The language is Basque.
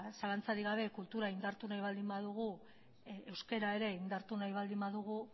zalantzarik gabe kultura indartu nahi baldin badugu euskera ere indartu nahi baldin badugu